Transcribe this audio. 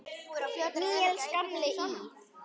Níels gamli í